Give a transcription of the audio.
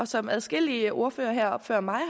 som adskillige ordførere før mig